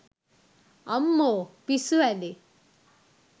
අම්මෝ පිස්සු හැදෙයි